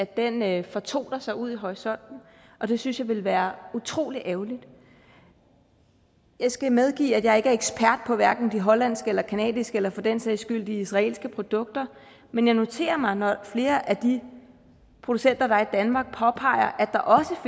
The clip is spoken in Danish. cannabis fortoner sig ud i horisonten og det synes jeg ville være utrolig ærgerligt jeg skal medgive at jeg ikke er ekspert hverken på de hollandske eller canadiske eller for den sags skyld de israelske produkter men jeg noterer mig mig at flere af de producenter der er i danmark påpeger at der også